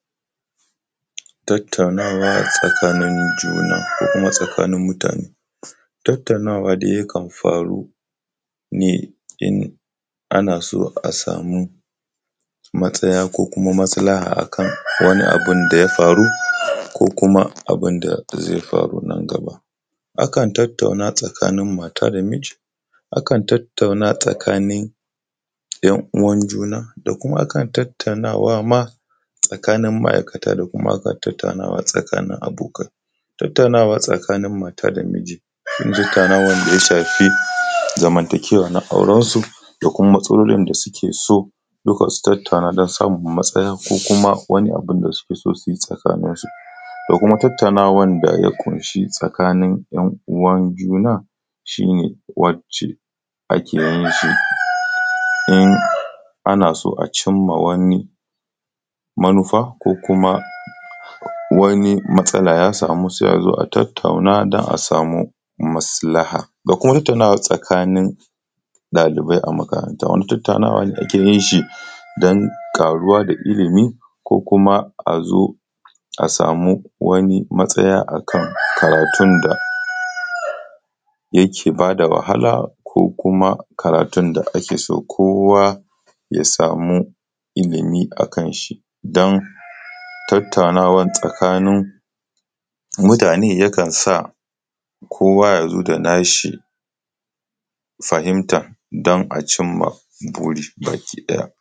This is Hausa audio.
Tattaunawa tsakanin juna ko kuma tsakanin mutane. Tattaunawa da yakan faru ne in ana so a samu matsaya ko kuma maslaha akan wani abun da ya faru, ko kuma abun da zai faru nan gaba. Akan tattauna tsakanin mata da miji, akan tattauna tsakanin ‘yan uwan juna, da kuma akan tattaunawa ma tsakanin ma’aikata da kuma tattaunawa tsakanin mata da miji, tattaunawan da ya shafi zamantakewa na auransu, da kuma matsalolin da suke so duka su tattauna don samun matsaya ko kuma wani abun da suke so su yi tsakaninsu. Da kuma tattaunawan da ya ƙunshi tsakanin ‘yan uwan juna shi ne wacce ake yin shi in ana so a cimma wani manufa, ko kuma wani matsala ya samu sai a zo a tattauna don a samu maslaha. Da kuma tattaunawa tsakanin ɗalibai a makaranta, wanda tattaunawa da ake yin shi don ƙaruwa da ilimi, ko kuma a zo samu wani matsaya akan karatun da yake ba da wahala ko kuma karatun da ake so kowa ya samu ilimi akan shi, don tattaunawa tsakanin mutane yakan sa kowa ya zo da na shi fahimtan don a cimma buri baki ɗaya.